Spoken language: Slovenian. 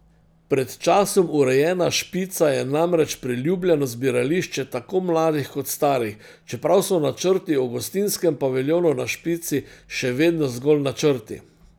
Pred časom urejena Špica je namreč priljubljeno zbirališče tako mladih kot starih, čeprav so načrti o gostinskem paviljonu na Špici še vedno zgolj načrti.